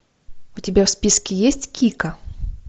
у тебя в списке есть кика